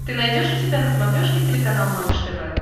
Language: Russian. ты найдешь у себя на смотрешке телеканал малыш тв